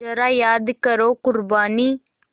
ज़रा याद करो क़ुरबानी